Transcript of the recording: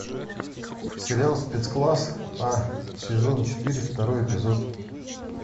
сериал спецкласс а сезон четыре второй эпизод